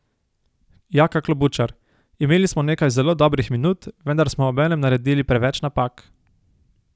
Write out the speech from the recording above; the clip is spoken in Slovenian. Jaka Klobučar: 'Imeli smo nekaj zelo dobrih minut, vendar smo obenem naredili preveč napak.